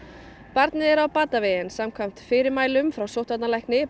barnið er á batavegi en samkvæmt ítarlegum fyrirmælum frá sóttvarnalækni